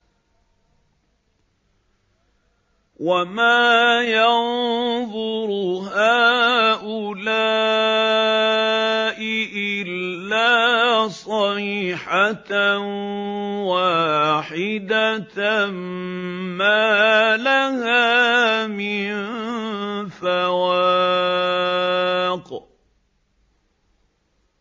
وَمَا يَنظُرُ هَٰؤُلَاءِ إِلَّا صَيْحَةً وَاحِدَةً مَّا لَهَا مِن فَوَاقٍ